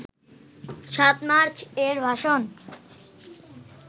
৭ March এর ভাষণ